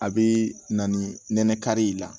A bɛ na ni nɛnɛ kari la